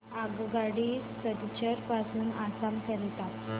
आगगाडी सिलचर पासून आसाम करीता